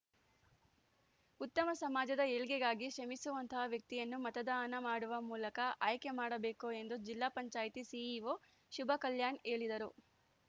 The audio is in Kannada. ಉತ್ತಮ ಸಮಾಜದ ಏಳ್ಗೆಗಾಗಿ ಶ್ರಮಿಸುವಂತಹ ವ್ಯಕ್ತಿಯನ್ನು ಮತದಾನ ಮಾಡುವ ಮೂಲಕ ಆಯ್ಕೆ ಮಾಡಬೇಕು ಎಂದು ಜಿಲ್ಲಾ ಪಂಚಾಯತಿ ಸಿಇಓ ಶುಭಕಲ್ಯಾಣ್ ಹೇಳಿದರು